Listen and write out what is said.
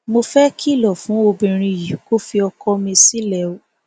mo fẹẹ kìlọ fún obìnrin yìí kó fi ọkọ mi sílẹ o